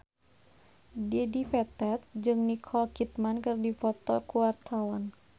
Dedi Petet jeung Nicole Kidman keur dipoto ku wartawan